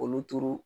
Olu turu